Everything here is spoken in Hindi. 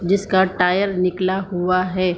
जिसका टायर निकला हुआ है।